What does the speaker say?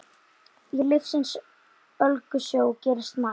Í lífsins ólgusjó gerist margt.